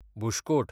bush coat